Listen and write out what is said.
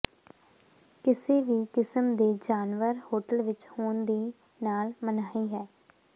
ਕਿਸੇ ਵੀ ਕਿਸਮ ਦੇ ਜਾਨਵਰ ਹੋਟਲ ਵਿੱਚ ਹੋਣ ਦੀ ਨਾਲ ਮਨਾਹੀ ਹੈ